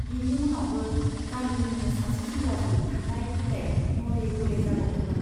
बिनि उनावबो गामिनिनो सासे सेंग्राजों थांलाय फैलाय , नले गले जाबावदोंमोन।